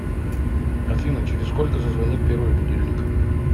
афина через сколько зазвонит первый будильник